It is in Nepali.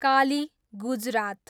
काली, गुजरात